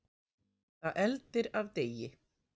Það eldir af degi.